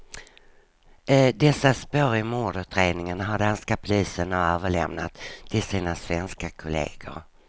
Dessa spår i mordutredningen har danska polisen nu överlämnat till sina svenska kolleger.